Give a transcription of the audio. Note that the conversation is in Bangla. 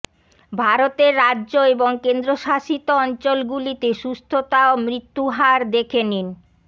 ভারতের রাজ্য এবং কেন্দ্রশাসিত অঞ্চলগুলিতে সুস্থতা ও মৃত্যু হার দেখে নিন